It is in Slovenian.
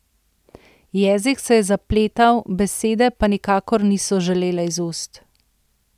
Jezik se je zapletal, besede pa nikakor niso želele iz ust.